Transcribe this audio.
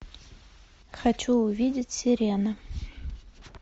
хочу увидеть сирена